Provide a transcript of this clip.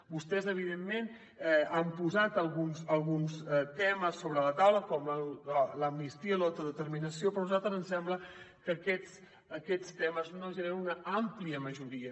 vostès evidentment han posat alguns temes sobre la taula com l’amnistia l’autodeterminació però a nosaltres ens sembla que aquests temes no generen una àmplia majoria